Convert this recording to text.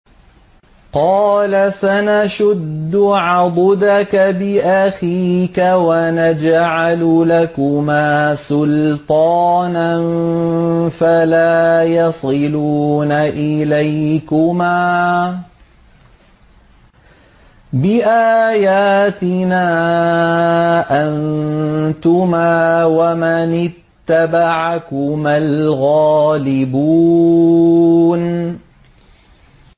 قَالَ سَنَشُدُّ عَضُدَكَ بِأَخِيكَ وَنَجْعَلُ لَكُمَا سُلْطَانًا فَلَا يَصِلُونَ إِلَيْكُمَا ۚ بِآيَاتِنَا أَنتُمَا وَمَنِ اتَّبَعَكُمَا الْغَالِبُونَ